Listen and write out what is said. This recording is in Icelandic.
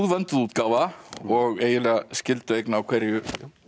vönduð útgáfa og eiginlega skyldueign á hverju